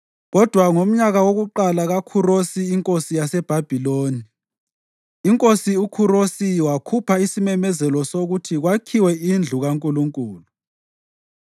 Kodwa ngomnyaka wokuqala kaKhurosi inkosi yaseBhabhiloni, iNkosi uKhurosi wakhupha isimemezelo sokuthi kwakhiwe indlu kaNkulunkulu.